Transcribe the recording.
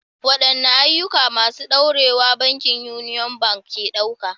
Waɗanne ayyuka masu ɗorewa bankin Union Bank ke ɗauka?